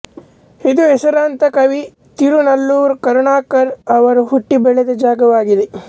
ಇದು ಹೆಸರಾಂತ ಕವಿ ತಿರುನಲ್ಲೂರ್ ಕರುಣಾಕರನ್ ಅವರು ಹುಟ್ಟಿ ಬೆಳೆದ ಜಾಗವಾಗಿದೆ